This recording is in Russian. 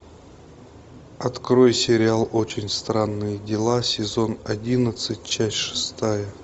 открой сериал очень странные дела сезон одиннадцать часть шестая